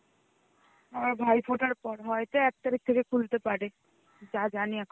আবার ভাইপোটার পর হইতো এক তারিখ থেকে খুলতে পারে যা জানি এখন~.